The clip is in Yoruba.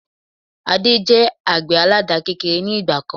Adé jẹ àgbẹ̀ àládà kékeré ni ìgbàkan